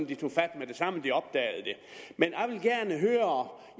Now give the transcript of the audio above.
de tog fat med det samme de opdagede det men